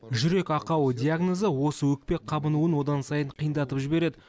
жүрек ақауы диагнозы осы өкпе қабынуын одан сайын қиындатып жібереді